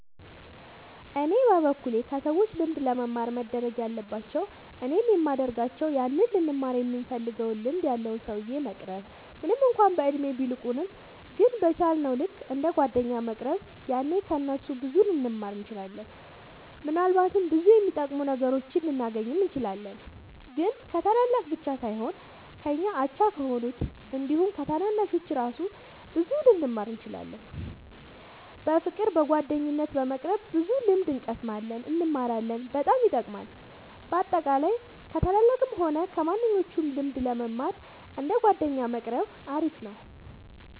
እኔ በበኩሌ ከሰዎች ልምድ ለመማር መደረግ ያለባቸው እኔም የሚደርጋቸው ያንን ልንማረው ይምንፈልገውን ልምድ ያለውን ሰውዬ መቅረብ ምንም እንኳን በእድሜ ቢልቁንም ግን በቻ ልክ እንደ ጓደኛ መቅረብ ያኔ ከ እነሱ ብዙ ልንማር እንችላለን። ምናልባትም ብዙ የሚጠቅሙ ነገሮችን ልናገኝ እንችላለን። ግን ከታላላቅ ብቻ ሳይሆን ከኛ አቻ ከሆኑት አንዲሁም ከታናናሾቹ እራሱ ብዙ ልንማር እንችላለን። በፍቅር በጓደኝነት በመቅረብ ብዙ ልምድ እንቀስማለን እንማራለን በጣም ይጠቅማል። በአጠቃላይ ከ ታላላቅም ሆነ ከማንኞቹም ልምድ ለመማር እንደ ጓደኛ መቆረብ አሪፍ ነው